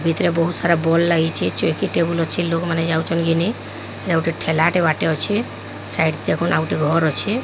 ଭିତରେ ବହୁତ ସାରା ବଲ ଲାଗିଚି। ଲୋକମାନେ ଚୌକି ଟେବୁଲ ଅଛି। ଲୋକମାନେ ଯାଉଛନ୍ତି। ଘିନି ଏଟା ଗୁଟେ ଠେଲାଟେ ବାଟେ ଅଛି। ସାଇଟ ରେ ଗୁଟେ ଘର ଅଛି।